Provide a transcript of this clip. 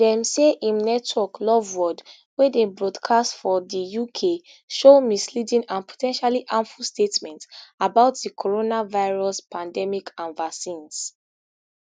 dem say im network loveworld wey dey broadcast for di uk show misleading and po ten tially harmful statements about di coronavirus pandemic and vaccines